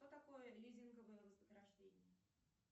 что такое лизинговое вознаграждение